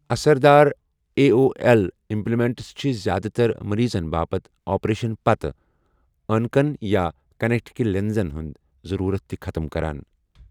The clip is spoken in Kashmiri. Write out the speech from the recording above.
اثر دار آے اُو ایل اِمپلانٹس چِھ زیادٕ تر مریضَن باپت آپریشنہٕ پتہٕ أنکن یا کانٹیکٹہٕ لینزَن ہُند ضرورت تِہ ختم کران ۔